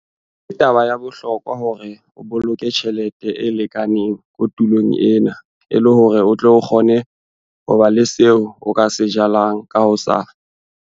Ke taba ya bohlokwa hore o boloke tjhelete e lekaneng kotulong ena e le hore o tle o kgone ho ba le seo o ka se jalang ka moso.